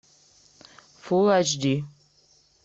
фул айч ди